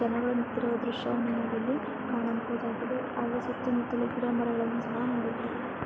ಜನರು ನಿಂತಿರುವ ದೃಶ್ಯವನ್ನು ನೋಡಲು ಕಾಣಬಹುದಾಗಿದೆ ಹಾಗೂ ಸುತ್ತಮುತ್ತಲೂ ಗಿಡಮರಗಳನ್ನು ಸಹಾ ನೋಡಬಹುದು.